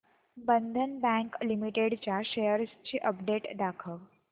बंधन bank limited च्या shares ची update दाखव